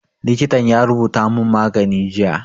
Likitan ya rubuta mun magani jiya